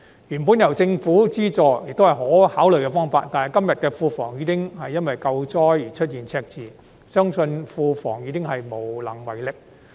原本由政府資助，也是可考慮的方案，但如今庫房因"救災"而出現赤字，相信庫房也無能為力。